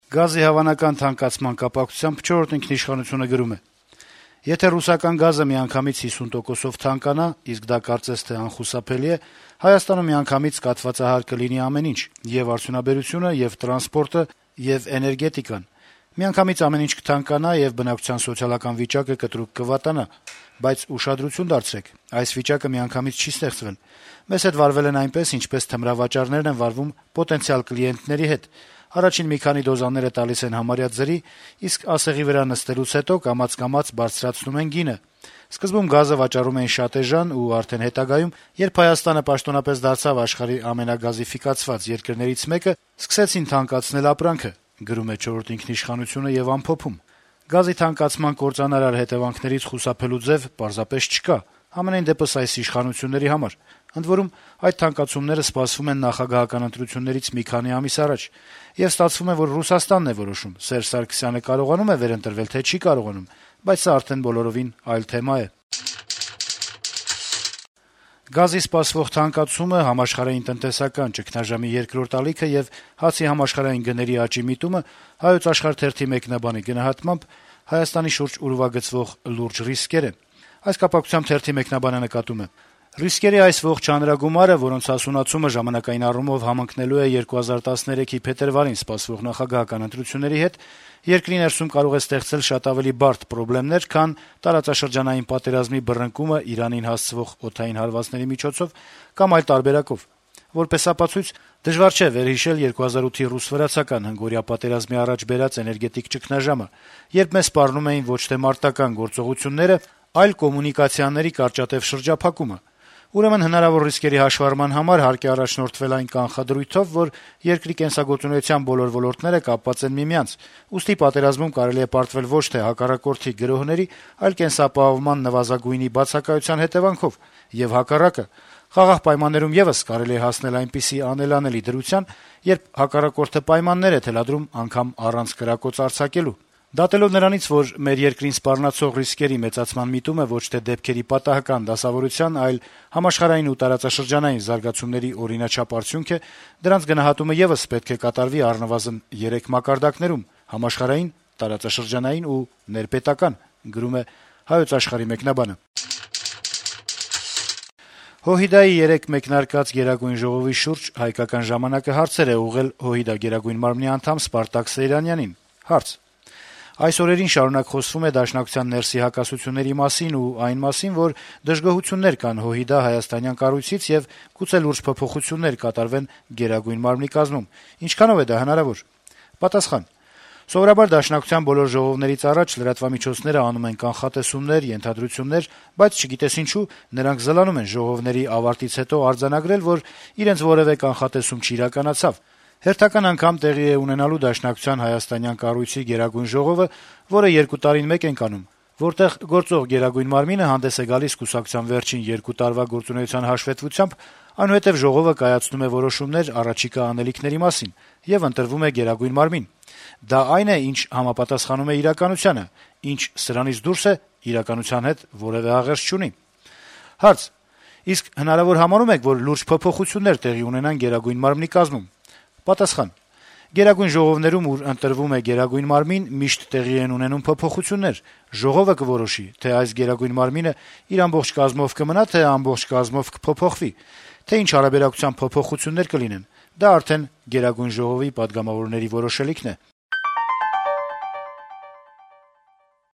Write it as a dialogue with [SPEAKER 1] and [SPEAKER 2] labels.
[SPEAKER 1] Գազի հավանական թանկացման կապակցությամբ «Չորրորդ ինքնիշխանություն»-ը գրում է. - «Եթե ռուսական գազը միանգամից 50 տոկոսով թանկանա, իսկ դա կարծես թե անխուսափելի է, Հայաստանում միանգամից կաթվածահար կլինի ամեն ինչ` եւ արդյունաբերությունը, եւ տրանսպորտը, եւ էներգետիկան: Միանգամից ամեն ինչ կթանկանա, եւ բնակչության սոցիալական վիճակը կտրուկ կվատանա: Բայց ուշադրություն դարձրեք` այս վիճակը միանգամից չի ստեղծվել: Մեզ հետ վարվել են այնպես, ինչպես թմրավաճառները են վարվում պոտենցիալ կլիենտների հետ` առաջին մի քանի դոզաները տալիս են համարյա ձրի, իսկ «ասեղի վրա նստելուց» հետո կամաց-կամաց բարձրացնում են գինը: Սկզբում գազը վաճառում էին շատ էժան, ու արդեն հետագայում, երբ Հայաստանը պաշտոնապես դարձավ աշխարհի ամենագազաֆիկացված երկրներից մեկը, սկսեցին թանկացնել ապրանքը: Գազի թանկացման կործանարար հետեւանքներից խուսափելու ձեւ պարզապես չկա, համենայնդեպս, այս իշխանությունների համար, ընդ որում այդ թանկացումները սպասվում են նախագահական ընտրություններից մի քանի ամիս առաջ: Եվ ստացվում է, որ Ռուսաստանն է որոշում` Սերժ Սարգսյանը կարողանում է վերընտրվել, թե՞ չի կարողանում: Բայց սա արդեն բոլորովին այլ թեմա է»: Գազի սպասվող թանկացումը, համաշխարհային տնտեսական ճգնաժամի երկրորդ ալիքը եւ հացի համաշխարհային գների աճի միտումը «Հայոց աշխարհ» թերթի մեկնաբանի գնահատմամբ Հայաստանի շուրջ ուրվագծվող լուրջ ռիսկեր են. - «Ռիսկերի այս ողջ հանրագումարը, որոնց հասունացումը ժամանակային առումով համընկնելու է 2013-ի փետրվարին սպասվող նախագահական ընտրությունների հետ, երկրի ներսում կարող է ստեղծել շատ ավելի բարդ պրոբլեմներ, քան տարածաշրջանային պատերազմի բռնկումը Իրանին հասցվող օդային հարվածների միջոցով կամ այլ տարբերակով։ Որպես ապացույց դժվար չէ վերհիշել 2008-ի ռուս-վրացական հնգօրյա պատերազմի առաջ բերած էներգետիկ ճգնաժամը, երբ մեզ սպառնում էին ոչ թե մարտական գործողությունները, այլ կոմունիկացիաների կարճատեւ շրջափակումը։ Ուրեմն հնարավոր ռիսկերի հաշվառման համար հարկ է առաջնորդվել այն կանխադրույթով, որ երկրի կենսագործունեության բոլոր ոլորտները կապված են միմյանց, ուստի պատերազմում կարելի է պարտվել ոչ թե հակառակորդի գրոհների, այլ կենսապահովման նվազագույնի բացակայության հետեւանքով, եւ, հակառակը, խաղաղ պայմաններում եւս կարելի է հասնել այնպիսի անելանելի դրության, երբ հակառակորդը պայմաններ է թելադրում անգամ առանց կրակոց արձակելու։ Դատելով նրանից, որ մեր երկրին սպառնացող ռիսկերի մեծացման միտումը ոչ թե դեպքերի պատահական դասավորության, այլ համաշխարհային ու տարածաշրջանային զարգացումների օրինաչափ արդյունք է, դրանց գնահատումը եւս պետք է կատարվի առնվազն երեք մակարդակներում՝ համաշխարհային, տարածաշրջանային ու ներպետական»։ Հայ հեղափոխական դաշնակցության հինգշաբթի օրը մեկնարկած Գերագույն ժողովի շուրջ «Հայկական ժամանակ»-ը հարցեր է ուղղել է ՀՅԴ ԳՄ անդամ Սպարտակ Սեյրանյանին: «Այս օրերին շարունակ խոսվում է Դաշնակցության ներսի հակասությունների մասին ու այն մասին, որ դժգոհություններ կան ՀՅԴ հայաստանյան կառույցից, եւ գուցե լուրջ փոփոխություններ կատարվեն ԳՄ կազմում, ինչքանո՞վ է դա հնարավոր», - հարցնում է թերթը: Պատասխան. - «Սովորաբար դաշնակցության բոլոր ժողովներից առաջ լրատվամիջոցները անում են կանխատեսումներ, ենթադրություններ, բայց, չգիտես ինչու, նրանք զլանում են ժողովների ավարտից հետո արձանագրել, որ իրենց որեւէ կանխատեսում չիրականացավ: Հերթական անգամ տեղի է ունենալու Դաշնակցության հայաստանյան կառույցի գերագույն ժողովը, որը 2 տարին մեկ ենք անում, որտեղ գործող Գերագույն մարմինը հանդես է գալիս կուսակցության վերջին 2 տարվա գործունեության հաշվետվությամբ, այնուհետեւ ժողովը կայացնում է որոշումներ առաջիկա անելիքների մասին, եւ ընտրվում է Գերագույն մարմին: Դա այն է, ինչ համապատասխանում է իրականությանը, ինչ սրանից դուրս է, իրականության հետ որեւէ աղերս չունի»: Հարց. - «Իսկ հնարավոր համարո՞ւմ եք, որ լուրջ փոփոխություններ տեղի ունենան Գերագույն մարմնի կազմում»: Պատասխան. - «Գերագույն ժողովներում, ուր ընտրվում է Գերագույն մարմին, միշտ տեղի են ունենում փոփոխություններ: Ժողովը կորոշի, թե այս Գերագույն մարմինը իր ամբողջ կազմով կմնա, թե ամբողջ կազմով կփոփոխվի, թե ինչ հարաբերակցությամբ փոփոխություններ կլինեն: Դա արդեն Գերագույն ժողովի պատգամավորների որոշելիքն է»: